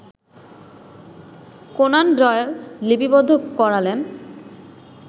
Conan Doyle লিপিবদ্ধ করালেন